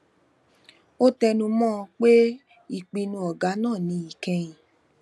ó tẹnu mọ ọn pé ìpinnu ọgá náà ni ìkẹyìn